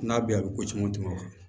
N'a bɛ a bɛ ko caman tɛmɛ o kan